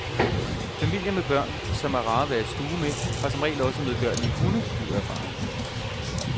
Familier med børn, som er rare at være i stue med, har som regel også medgørlige hunde, lyder erfaringen.